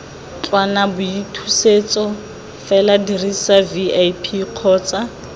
ntlwanaboithusetso fela dirisa vip kgotsa